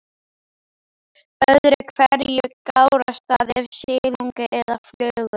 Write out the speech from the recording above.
Öðru hverju gárast það af silungi eða flugu.